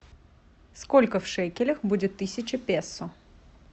сколько в шекелях будет тысяча песо